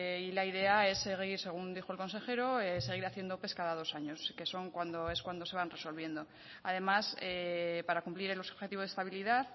y la idea es seguir según dijo el consejero seguir haciendo ope cada dos años que es cuando se van resolviendo además para cumplir el objetivo de estabilidad